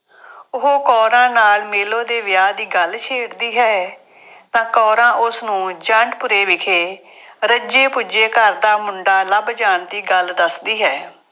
ਉਹ ਕੌਰਾਂ ਨਾਲ ਮੇਲੋ ਦੇ ਵਿਆਹ ਦੀ ਗੱਲ ਛੇੜਦੀ ਹੈ ਤਾਂ ਕੌਰਾਂ ਉਸਨੂੰ ਜੰਡਪੁਰੇ ਵਿਖੇ ਰੱਜੇ ਪੁੱਜੇ ਘਰ ਦਾ ਮੁੰਡਾ ਲੱਭ ਜਾਣ ਦੀ ਗੱਲ ਦੱਸਦੀ ਹੈ।